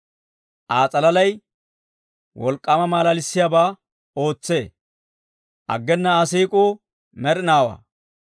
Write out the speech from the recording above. Aa s'alalay wolk'k'aama malalissiyaabaa ootsee; aggena Aa siik'uu med'inaawaa.